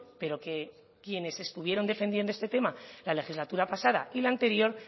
pero que quienes estuvieron defendiendo este tema en la legislatura pasada y la anterior